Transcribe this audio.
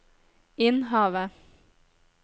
Innhavet